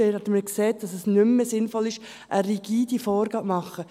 Vorhin haben wir gesagt, dass es nicht mehr sinnvoll ist, eine rigide Vorgabe zu machen.